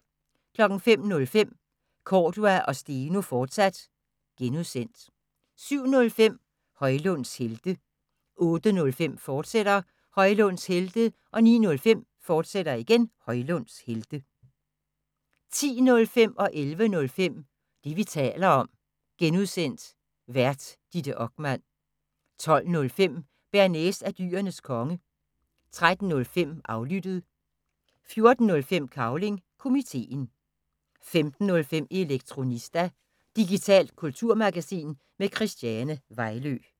05:05: Cordua & Steno, fortsat (G) 07:05: Højlunds Helte 08:05: Højlunds Helte, fortsat 09:05: Højlunds Helte, fortsat 10:05: Det, vi taler om (G) Vært: Ditte Okman 11:05: Det, vi taler om (G) Vært: Ditte Okman 12:05: Bearnaise er Dyrenes Konge 13:05: Aflyttet 14:05: Cavling Komiteen 15:05: Elektronista – digitalt kulturmagasin med Christiane Vejlø